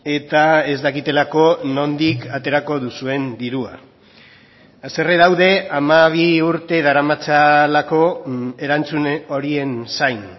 eta ez dakitelako nondik aterako duzuen dirua haserre daude hamabi urte daramatzalako erantzun horien zain